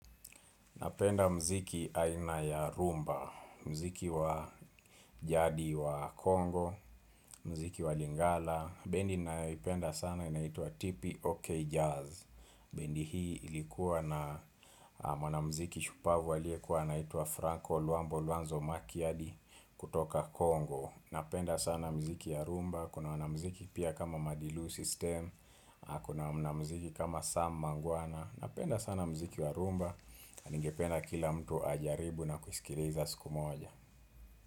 Napenda muziki aina ya rhumba, muziki wa jadi wa Kongo, mziki wa Lingala. Bendi ninayoipenda sana inaituwa TIPI OK jazz. Bendi hii ilikuwa na mwanamuziki shupavu aliyekuwa anaitwa Franco Luambo Luanzo Makiadi kutoka Kongo. Napenda sana muziki ya rhumba, kuna wanamuziki pia kama Madilu System, kuna mwanamuziki kama Sam Mangwana. Napenda sana muziki wa rhumba Ningependa kila mtu ajaribu na kusikiliza siku moja.